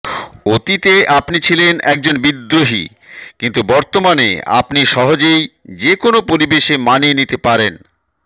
অতীতে আপনি ছিলেন একজন বিদ্রোহী কিন্তু বর্তমানে আপনি সহজেই যেকোনও পরিবেশে মানিয়ে নিতে পারেন